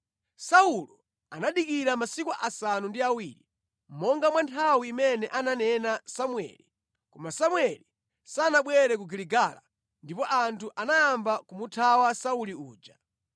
Saulo anadikirira masiku asanu ndi awiri, monga mwa nthawi imene ananena Samueli. Koma Samueli sanabwere ku Giligala, ndipo anthu anayamba kumuthawa Sauli uja.